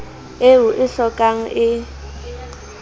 eo o e hlokang e